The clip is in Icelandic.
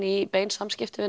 í beinum samskiptum við